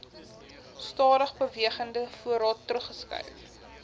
stadigbewegende voorraad teruggeskryf